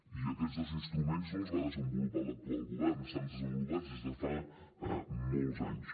i aquests dos instruments no els va desenvolupar l’actual govern estan desenvolupats des de fa molts anys